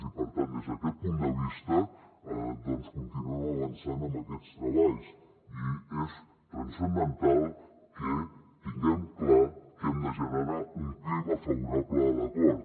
i per tant des d’aquest punt de vista doncs continuem avançant amb aquests treballs i és transcendental que tinguem clar que hem de generar un clima favorable a l’acord